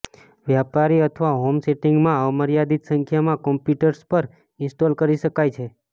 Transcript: વ્યાપારી અથવા હોમ સેટિંગમાં અમર્યાદિત સંખ્યામાં કમ્પ્યુટર્સ પર ઇન્સ્ટોલ કરી શકાય છે